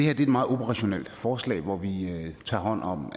er et meget operationelt forslag hvor vi tager hånd om